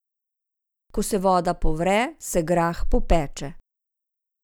Ko se voda povre, se grah popeče.